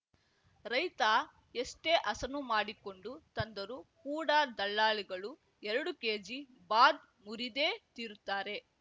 ರೈತ ಎಷ್ಟೇ ಹಸನು ಮಾಡಿಕೊಂಡು ತಂದರೂ ಕೂಡ ದಲ್ಲಾಳಿಗಳು ಎರಡು ಕೇಜಿ ಬಾದ್‌ ಮುರಿದೇ ತೀರುತ್ತಾರೆ